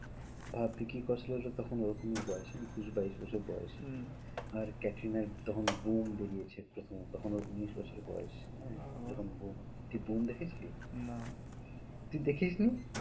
ভাব ভিকি কৌশল এর তো তখন ওরকমই বয়েস একুশ বাইশ বছর বয়েস হম আর ক্যাটরিনার তখন বেরিয়েছে প্রথম তখন ওর উনিশ বছর বয়েস তুই দেখে ছিলিস? না তুই দেখিসনি?